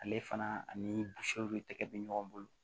Ale fana ani bɛ ɲɔgɔn bolo